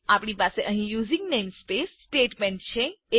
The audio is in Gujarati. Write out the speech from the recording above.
આપણી પાસે અહીં યુઝિંગ નેમસ્પેસ સ્ટેટમેન્ટ છે